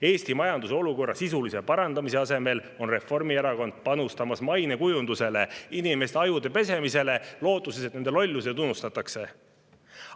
Eesti majanduse olukorra sisulise parandamise asemel panustab Reformierakond mainekujundusele, inimeste ajude pesemisele, lootuses, et nende lollused unustatakse.